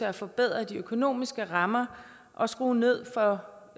at forbedre de økonomiske rammer og skrue ned for